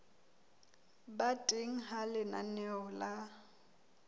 ba teng ha lenaneo la